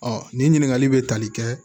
nin ɲininkali bɛ tali kɛ